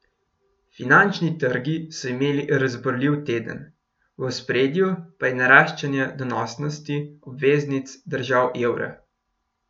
Finančni trgi so imeli razburljiv teden, v ospredju pa je naraščanje donosnosti obveznic držav evra.